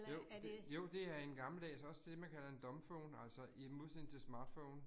Jo, det, jo det er en gammeldags, også det man kalder en dumbphone. Altså i modsætning til smartphone